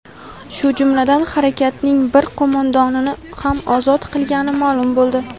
shu jumladan harakatning bir qo‘mondonini ham ozod qilgani ma’lum bo‘ldi.